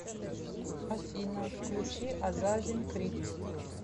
афина включи азазин крит